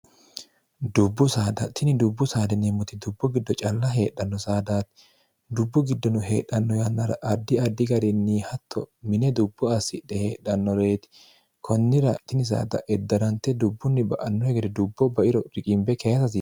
dubbu saadatini dubbu saaleneemmoti dubbo giddo calla heedhanno saadaati dubbu giddono heedhanno yannara addi addi garinni hatto mine dubbo assidhe heedhannoreeti kunnira tini sdeddarante dubbunni ba'anno hegedre dubbo bairo riqiimbe keesari